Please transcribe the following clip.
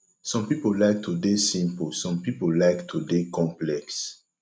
some pipo like to de simple some pipo like to de complex